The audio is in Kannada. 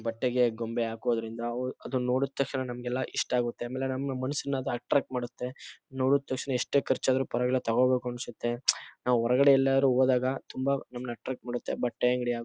ಬಟ್ಟೆಗೆ ಗೊಂಬೆ ಹಾಕೋದ್ರಿಂದ ಅದನ್ನ ನೋಡಿದ ತಕ್ಷಣ ನಮಗೆಲ್ಲ ಇಷ್ಟ ಅಗತ್ತೆ ಅಮೇಲೆ ನಮ್ಮ ಮನಸ್ಸನ್ನ ಅದು ಅಟ್ರ್ಯಾಕ್ಟ್ ಮಾಡತ್ತೆ ನೋಡಿದ ತಕ್ಷಣ ಎಷ್ಟೆ ಖರ್ಚಾದ್ರು ಪರ್ವಾಗಿಲ್ಲ ತೊಗೊಬೇಕು ಅನ್ಸತ್ತೆ ನಾವು ಹೊರಗಡೆ ಎಲ್ಲ ಹೋದಾಗ ತುಂಬ ನಮ್ಮನ್ನ ಅಟ್ರ್ಯಾಕ್ಟ್ ಮಾಡತ್ತೆ ಬಟ್ಟೆ ಅಂಗಡಿ.